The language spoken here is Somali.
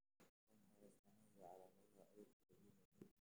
Waa maxay astamaha iyo calaamadaha cudurka Robinowga ?